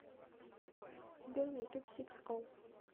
сбер на ютуб сикс оу